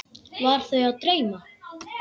Var þau að dreyma?